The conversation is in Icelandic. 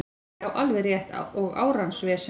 Já, alveg rétt og árans vesen